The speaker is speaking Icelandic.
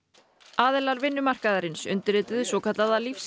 aðilar vinnumarkaðarins undirrituðu svokallaða